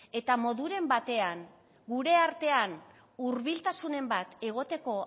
eta moduren batean gure artean hurbiltasunen bat egoteko